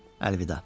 Əlvida.